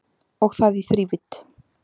Og það í þrívídd